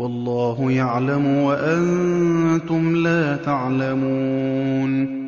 وَاللَّهُ يَعْلَمُ وَأَنتُمْ لَا تَعْلَمُونَ